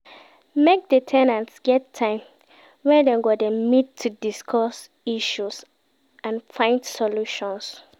Make di ten ants get time wey Dem go de meet to discuss issues and find solutions